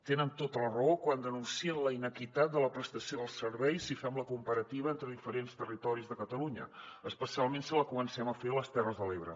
tenen tota la raó quan denuncien la inequitat de la prestació del servei si fem la comparativa entre diferents territoris de catalunya especialment si la comencem a fer a les terres de l’ebre